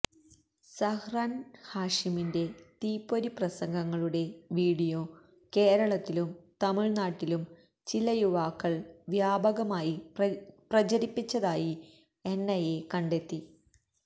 സഹ്റാന് ഹാഷിമിന്റെ തീപ്പൊരി പ്രസംഗങ്ങളുടെ വീഡിയോ കേരളത്തിലും തമിഴ്നാട്ടിലും ചില യുവാക്കള് വ്യാപകമായി പ്രചരിപ്പിച്ചതായി എന്ഐഎ കണ്ടെത്തി